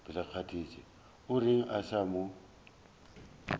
o reng a sa mo